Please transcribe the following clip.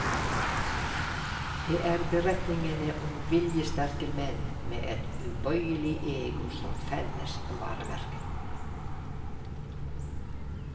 Det er beretningene om viljesterke menn med et ubøyelig ego som felles varemerke.